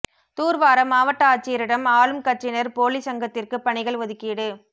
தூர்வார மாவட்ட ஆட்சியரிடம் ஆளும் கட்சியினர் போலி சங்கத்திற்குப் பணிகள் ஒதுக்கீடு